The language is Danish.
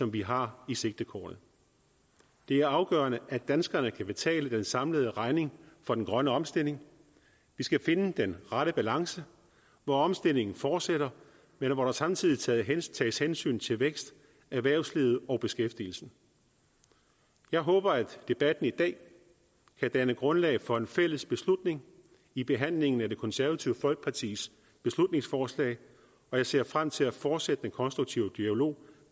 vi har i sigtekornet det er afgørende at danskerne kan betale den samlede regning for den grønne omstilling vi skal finde den rette balance hvor omstillingen fortsætter men hvor der samtidig tages tages hensyn til vækst erhvervsliv og beskæftigelse jeg håber at debatten i dag kan danne grundlag for en fælles beslutning i behandlingen af det konservative folkepartis beslutningsforslag og jeg ser frem til at fortsætte den konstruktive dialog